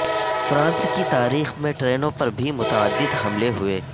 France کی تاریخ میں ٹرینوں پر بھی متعدد حملے ہوئے